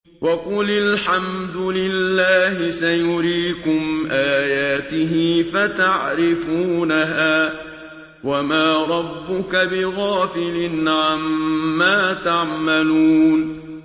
وَقُلِ الْحَمْدُ لِلَّهِ سَيُرِيكُمْ آيَاتِهِ فَتَعْرِفُونَهَا ۚ وَمَا رَبُّكَ بِغَافِلٍ عَمَّا تَعْمَلُونَ